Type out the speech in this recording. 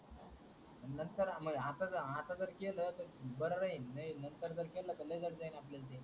नंतर आता जर आता जर केलं तर बर राहील नंतर केलं तर जड जाईल आपल्याला